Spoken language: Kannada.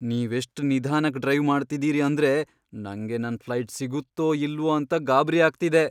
ನೀವೆಷ್ಟ್ ನಿಧಾನಕ್ ಡ್ರೈವ್ ಮಾಡ್ತಿದೀರಿ ಅಂದ್ರೆ ನಂಗೆ ನನ್ ಫ್ಲೈಟ್ ಸಿಗುತ್ತೋ ಇಲ್ವೋ ಅಂತ ಗಾಬ್ರಿ ಆಗ್ತಿದೆ.